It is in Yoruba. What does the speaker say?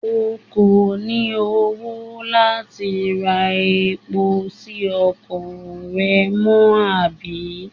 O kò ní owó láti ra epo sí ọkọ̀ rẹ mọ́, àbí?